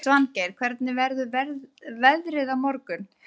Svangeir, hvernig verður veðrið á morgun?